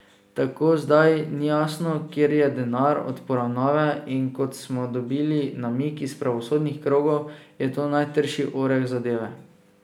Tako zdaj ni jasno, kje je denar od poravnave, in kot smo dobili namig iz pravosodnih krogov, je to najtrši oreh zadeve.